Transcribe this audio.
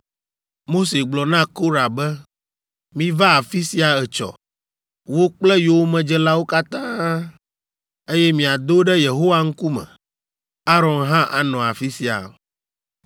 Mose gblɔ na Korah be, “Miva afi sia etsɔ, wò kple yowòmedzelawo katã, eye miado ɖe Yehowa ŋkume; Aron hã anɔ afi sia.